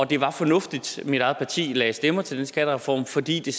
det var fornuftigt og mit eget parti lagde stemmer til den skattereform fordi det